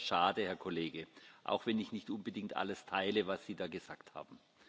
Das ist sehr schade, Herr Kollege, auch wenn ich nicht unbedingt alles teile, was Sie da gesagt haben.